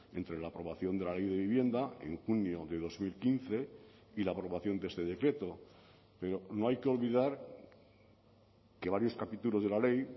entre la aprobación de la ley de vivienda en junio de dos mil quince y la aprobación de este decreto pero no hay que olvidar que varios capítulos de la ley